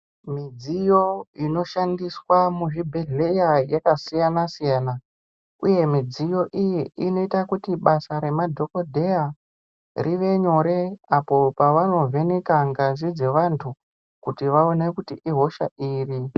Midziyo inoshandiswa muzvibhedhleya yakasiyana siyana uye mudziyo iyi inoita kuti basa remadhokodheya rive nyire apo pavanovheneka ngazi dzevantu kuti vaone kuti ihosha iri.